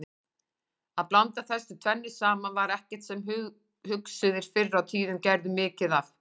Að blanda þessu tvennu saman var ekkert sem hugsuðir fyrr á tíðum gerðu mikið af.